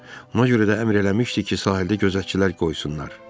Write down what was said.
Buna görə də əmr eləmişdi ki, sahildə gözətçilər qoysunlar.